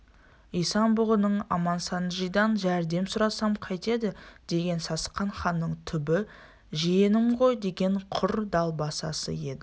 исан-бұғының амансанджидан жәрдем сұрасам қайтеді дегені сасқан ханның түбі жиенім ғойдеген құр далбасасы еді